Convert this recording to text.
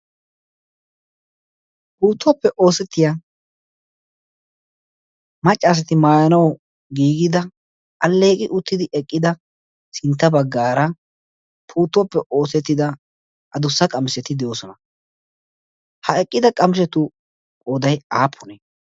puuttuwoappe oosettiyaa maccaasati maayanau giigida alleeqi uttidi eqqida sintta baggaara puttuwaappe oosettida a dossa qamiseti de'oosona. ha eqqida qamishetu qodai aappunee?